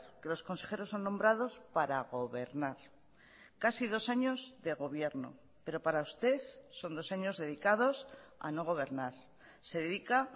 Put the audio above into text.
que los consejeros son nombrados para gobernar casi dos años de gobierno pero para usted son dos años dedicados a no gobernar se dedica